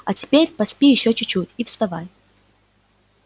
а теперь поспи ещё чуть-чуть и вставай